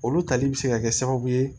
Olu tali bɛ se ka kɛ sababu ye